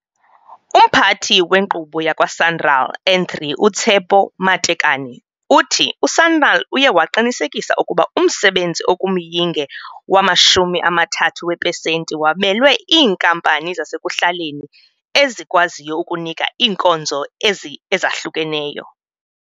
UMphathi weNkqubo yakwa-Sanral N3 uTshepo Matekane uthi u-Sanral uye waqinisekisa ukuba umsebenzi okumyinge wama-30 weepesenti wabelwe iinkampani zasekuhlaleni ezikwaziyo ukunika iinkonzo ezi ezahlukeneyo.